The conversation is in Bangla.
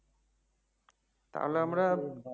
তাহলে আমরা